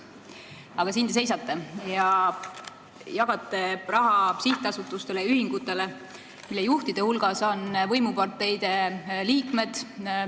Aga siin te seisate ja jagate raha sihtasutustele ja ühingutele, mille juhtide hulgas on võimuparteide liikmed.